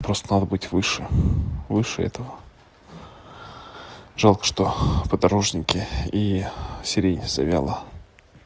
просто надо быть выше выше этого жалко что подорожники и сирени завела